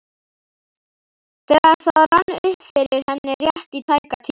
þegar það rann upp fyrir henni, rétt í tæka tíð.